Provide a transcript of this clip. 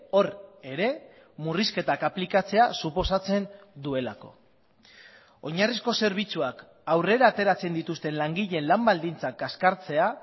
hor ere murrizketak aplikatzea suposatzen duelako oinarrizko zerbitzuak aurrera ateratzen dituzten langileen lan baldintzak kaskartzea